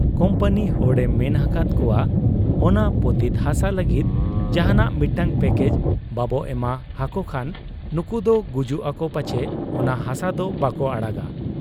Company ᱦᱚᱲ ᱮ ᱢᱮᱱ ᱟᱠᱟᱦᱟᱫ ᱠᱚᱣᱟ, ᱚᱱᱟ ᱯᱚᱛᱤᱛ ᱦᱟᱥᱟ ᱞᱟᱹᱜᱤᱫ ᱡᱟᱦᱟᱸᱱᱟᱜ ᱢᱤᱫᱴᱟᱹᱝ ᱯᱭᱟᱠᱮᱡᱽ ᱵᱟᱵᱚ ᱮᱢᱟ ᱦᱟᱠᱚ ᱠᱷᱟᱱ ᱱᱩᱠᱩᱫᱚ ᱜᱩᱡᱩᱜ ᱟᱠᱚ ᱯᱟᱪᱷᱮ ᱚᱱᱟ ᱦᱟᱥᱟ ᱫᱚ ᱵᱟᱠᱚ ᱟᱲᱟᱜᱟ ᱾